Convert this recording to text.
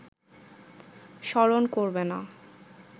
স্মরণ করবে না